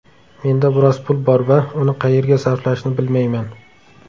Menda biroz pul bor va uni qayerga sarflashni bilmayman.